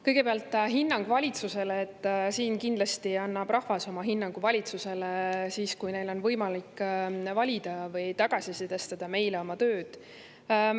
Kõigepealt, hinnang valitsusele: kindlasti annab rahvas oma hinnangu valitsusele siis, kui neil on võimalik valida või meile meie tööd tagasisidestada.